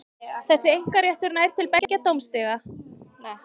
Og var Þjóðverjinn ekki ósáttur við að vera hlekkjaður í fjósi?